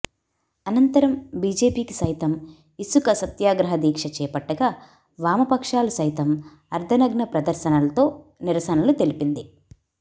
అనంతరం బీజేపీ సైతం ఇసుక సత్యాగ్రహ దీక్ష చేపట్టగా వామపక్షాలు సైతం అర్థనగ్న ప్రదర్శనలతో నిరసనలు తెలిపింది